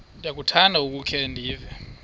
ndiyakuthanda ukukhe ndive